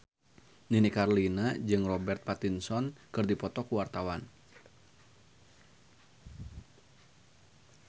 Nini Carlina jeung Robert Pattinson keur dipoto ku wartawan